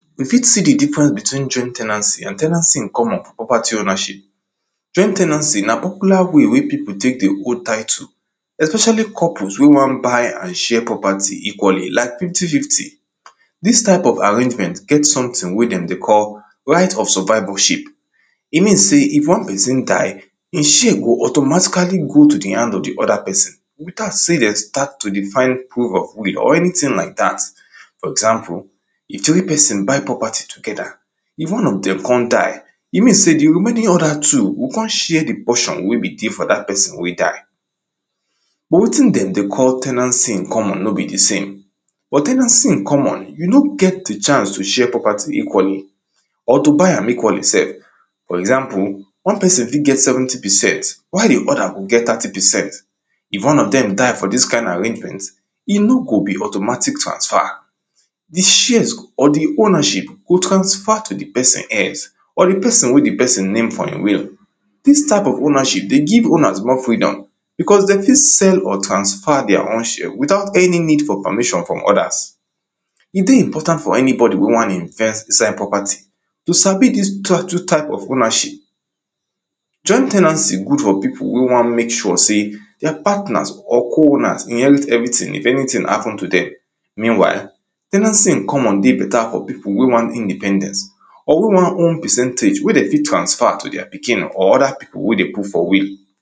we fit see the difference between joint ten ancy and ten ancy in common for property ownership. joint ten ancy na popular way wey pipo tek dey hold tittle, especially couples wey wan buy and share property equally like fifty fifty. dis tye of arrangement get someting wey dem dey call, right of survivalship. e mean sey if one person die, e share go automatically go to hand of the other person noting as sey, de start to dey find prove of will or anyting like dat for example: if three person buy property together if one of dem con die, e mean sey the remaining other two go con share the portion wey be dey for dat person wey die. wetin den dey call ten ancy in common no be the same, for ten ancy in common, you no get the chance to share property equally, or to buy am equally sef, for example, one person fit get seventy percent, while the other go get thirty percent. if one of dem die for dis kind arrangement, e no go be automatic transfer. the shares or the ownership go transfer to the person heirs, or the person, wey the person name for in will, dis type of ownership dey give owners more freedom because de fit sell or transfer, deir own share without any need for permission from others, e dey important for anybody wey wan invest inside property, to sabi dis two type of ownership. joint ten ancy good for pipo wey wan mek sure sey, deir patners or co-owners inherit everyting if anyting happen to dem. meanwhile, ten ancy in common dey better for pipu wey want independence, or wey wan own percentage wey de fit transfer to deir pikin or other pipu wey de put for will.